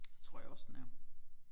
Det tror jeg også den er